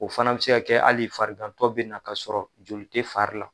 O fana bɛ se ka kɛ hali farigantɔ bɛ na ka sɔrɔ joli te fari la.